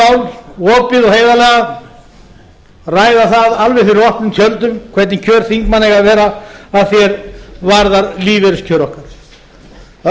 mál opið og heiðarlega ræða það alveg fyrir opnum tjöldum hvernig kjör þingmanna eiga að vera að því er varðar lífeyriskjör okkar